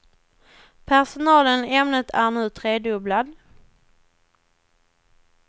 Personalen i ämnet är nu tredubblad.